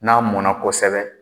N'a mɔnna kosɛbɛ